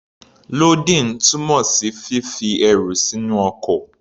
Lódìn túmọ̀ sí fífi ẹrù sínú ọkọ̀.